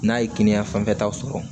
N'a ye kɛnɛya fanfɛla sɔrɔ